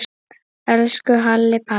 Elsku Halli Palli.